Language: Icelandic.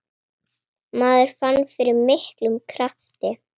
Maður fann fyrir miklum krafti.